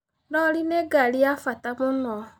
Rori nĩ ngari ya bata mũno.